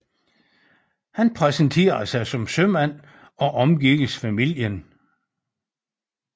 Han præsenterede sig som sømand og omgikkes familien